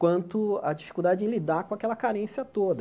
quanto a dificuldade em lidar com aquela carência toda.